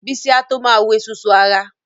Bísí a tó ma wu esusu ara